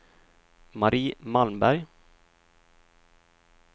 Marie Malmberg